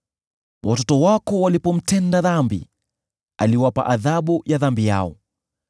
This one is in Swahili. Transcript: Watoto wako walipomtenda dhambi, aliwapa adhabu ya dhambi yao.